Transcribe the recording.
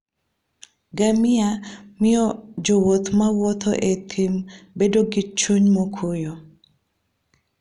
Ngamia miyo jowuoth ma wuotho e thim bedo gi chuny mokuwe.